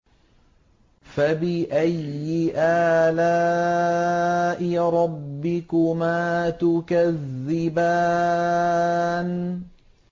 فَبِأَيِّ آلَاءِ رَبِّكُمَا تُكَذِّبَانِ